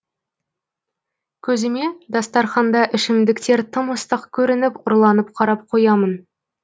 көзіме дастарқанда ішімдіктер тым ыстық көрініп ұрланып қарап қоямын